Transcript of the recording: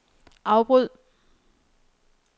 afbryd